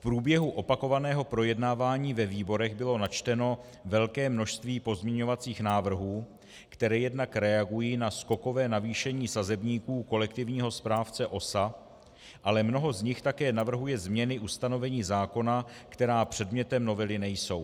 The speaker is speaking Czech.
V průběhu opakovaného projednávání ve výborech bylo načteno velké množství pozměňovacích návrhů, které jednak reagují na skokové navýšení sazebníků kolektivního správce OSA, ale mnoho z nich také navrhuje změny ustanovení zákona, která předmětem novely nejsou.